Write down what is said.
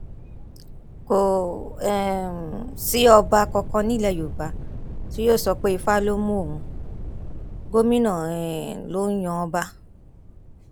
kò um sí ọba kankan nílẹ yorùbá tí yóò sọ pé ifá ló mú òun gómìnà um ló ń yan ọba